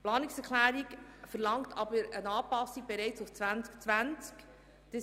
Die Planungserklärung verlangt jedoch bereits eine Anpassung ab dem Jahr 2020.